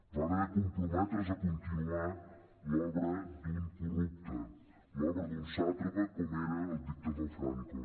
va haver de comprometre’s a continuar l’obra d’un corrupte l’obra d’un sàtrapa com era el dictador franco